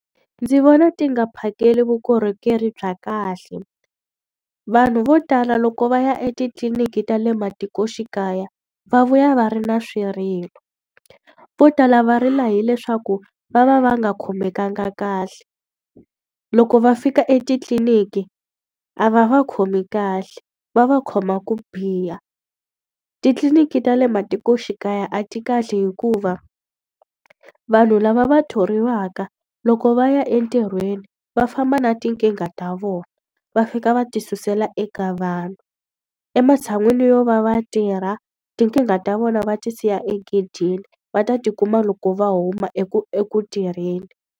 Ndzi vona ti nga phakeli vukorhokeri bya kahle. Vanhu vo tala loko va ya etitliliniki ta le matikoxikaya, va vuya va ri na swirilo. Vo tala va rila hileswaku va va va nga khomekanga kahle, loko va fika etitliliniki a va va khomi kahle, va va khoma ku biha. Titliliniki ta le matikoxikaya a ti kahle hikuva vanhu lava va thoriwaka loko va ya entirhweni va famba na tinkingha ta vona, va fika va ti susela eka vanhu. Ematshan'wini yo va va tirha tinkingha ta vona va ti siya egedeni, va ta ti kuma loko va huma eku eku tirheni.